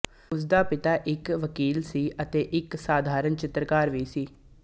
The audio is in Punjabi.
ਉਸਦਾ ਪਿਤਾ ਇੱਕ ਵਕੀਲ ਸੀ ਅਤੇ ਇੱਕ ਸਧਾਰਨ ਚਿੱਤਰਕਾਰ ਵੀ ਸੀ